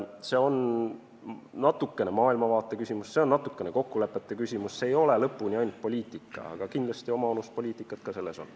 See on natukene maailmavaateline küsimus, see on natukene kokkulepete küsimus, see ei ole lõpuni ainult poliitika, kuigi oma annus poliitikat selles on.